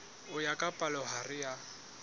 ho ya ka palohare ya